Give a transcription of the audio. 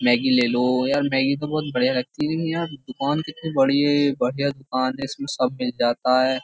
Maggi ले लो यार मेगी तो बहुत बढ़िया लगती है यहाँ दुकान कितनी बड़ी है बढ़िया दुकान है इसमें सब मिल जाता हैं।